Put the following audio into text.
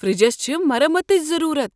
فریجس چھےٚ مرمتٕچ ضروٗرت۔